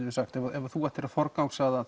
ef þú ættir að forgangsraða